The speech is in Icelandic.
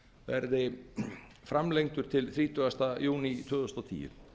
verði framlengdur til þrítugasta júní tvö þúsund og tíu